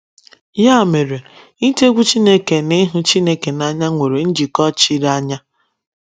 Ya mere, ịtụ egwu Chineke na ịhụ Chineke n’anya nwere njikọ chiri anya.